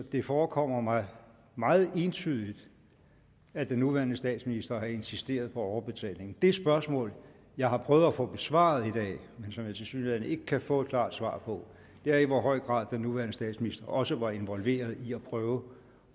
det forekommer mig meget entydigt at den nuværende statsminister har insisteret på overbetaling det spørgsmål jeg har prøvet at få besvaret i dag men som jeg tilsyneladende ikke kan få et klart svar på er i hvor høj grad den nuværende statsminister også var involveret i at prøve